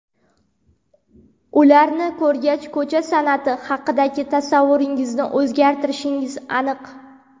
Ularni ko‘rgach, ko‘cha san’ati haqidagi tasavvuringizni o‘zgartirishingiz aniq.